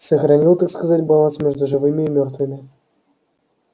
сохранил так сказать баланс между живыми и мёртвыми